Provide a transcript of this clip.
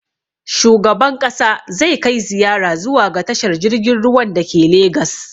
Shugaban ƙasa zai kai ziyara zuwa ga tashar jirgin ruwan da ke legas